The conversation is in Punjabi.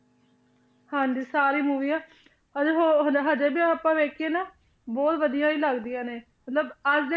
ਹਾਂਜੀ ਸਾਰੀ ਮੂਵੀਆਂ ਹਜੇ ਹੋ~ ਹਜੇ ਵੀ ਆਪਾਂ ਵੇਖੀਏ ਨਾ ਬਹੁਤ ਵਧੀਆ ਹੀ ਲੱਗਦੀਆਂ ਨੇ ਮਤਲਬ ਅੱਜ